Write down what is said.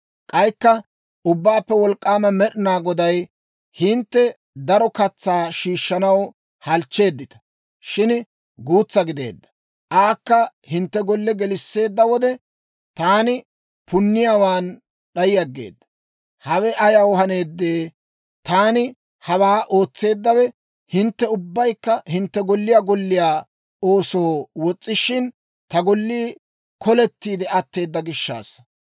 K'aykka Ubbaappe Wolk'k'aama Med'inaa Goday, «Hintte daro katsaa shiishshanaw halchcheeddita; shin guutsaa gideedda; aakka hintte golle gelisseedda wode, taani punniyaawaan d'ay aggeedda. Hawe ayaw haneeddee? Taani hawaa ootseeddawe, hintte ubbaykka hintte golliyaa golliyaa oosoo wos's'ishin, ta gollii kolettiide atteedda gishshaassa.